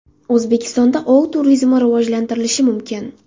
O‘zbekistonda ov turizmi rivojlantirilishi mumkin.